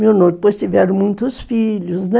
depois tiveram muitos filhos, né?